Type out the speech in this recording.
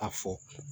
A fɔ